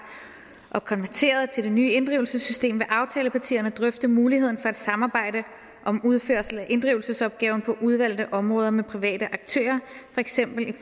og konverteret til det nye inddrivelsessystem vil aftalepartierne drøfte muligheden for et samarbejde om udførsel af inddrivelsesopgaven på udvalgte områder med private aktører fx